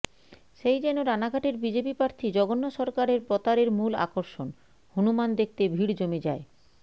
সেই যেন রানাঘাটের বিজেপি প্রার্থী জগন্নাথ সরকারের প্রতারের মূল আকর্ষণ হনুমান দেখতে ভিড় জমে যায়